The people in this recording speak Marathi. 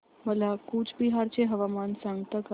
मला कूचबिहार चे हवामान सांगता का